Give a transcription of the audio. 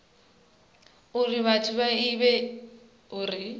uri vhathu vha ivhe uri